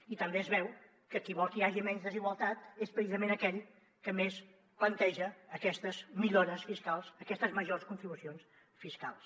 i també es veu que qui vol que hi hagi menys desigualtat és precisament aquell que més planteja aquestes millores fiscals aquestes majors contribucions fiscals